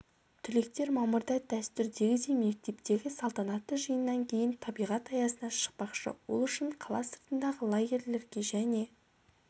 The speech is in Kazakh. түлектер мамырда дәстүрдегідей мектептегі салтанатты жиыннан кейін табиғат аясына шықпақшы ол үшін қала сыртындағы лагерьлерге және